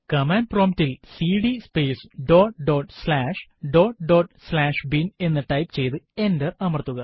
command prompt ൽ cd space dot dot slash dot dot slash bin എന്ന് type ചെയ്തു enter അമർത്തുക